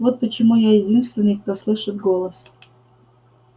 вот почему я единственный кто слышит голос